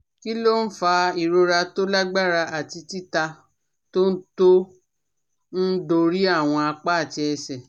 Kí ló ń fa ìrora tó lágbára àti titá tó ń tó ń dorí àwọn apá àti ẹsẹ̀?